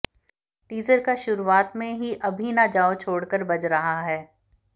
teaser का शुरूआत में ही अभी ना जाओ छोडकर बज रहा है